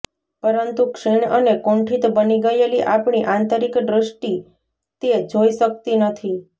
પરંતુ ક્ષીણ અને કુંઠિત બની ગયેલી આપણી આંતરિક દૃષ્ટિ તે જોઈ શક્તિ નથી